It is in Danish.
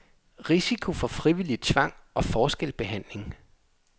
Risiko for frivillig tvang og forskelsbehandling.